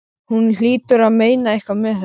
Hún hlýtur að meina eitthvað með þessu!